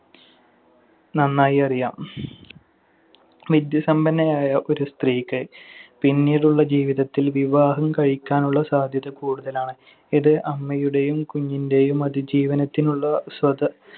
നന്നായി അറിയാം. വിദ്യാസമ്പന്നയായ ഒരു സ്ത്രീക്ക് പിന്നീടുള്ള ജീവിതത്തിൽ വിവാഹം കഴിക്കാനുള്ള സാധ്യത കൂടുതലാണ്. ഇത് അമ്മയുടെയും കുഞ്ഞിന്‍റെയും അതിജീവനത്തിനുള്ള